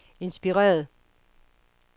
inspireret